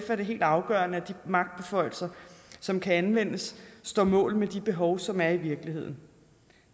er det helt afgørende at de magtbeføjelser som kan anvendes står mål med de behov som der er i virkeligheden